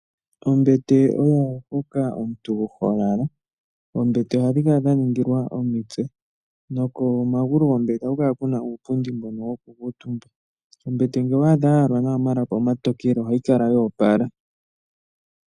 Ombete oyo hoka omuntu holala, oombete ohadhi kala dha ningilwa omitse noko magulu gombete oha kukala kuna uupundi mbono woku kuutumbwa ,ombete ngele owaadha yayalwa nawa omalapi omatokele ohayi kala yoopola.